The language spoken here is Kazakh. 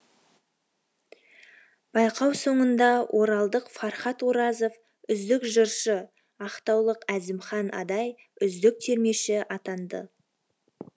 байқау соңында оралдық фархат оразов үздік жыршы ақтаулық әзімхан адай үздік термеші атанды